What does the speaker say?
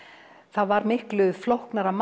það var miklu flóknara